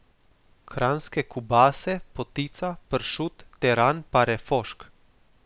Kranjske kubase, potica, pršut, teran pa refošk.